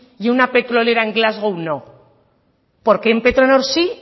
y una petrolera en glasgow no por qué en petronor sí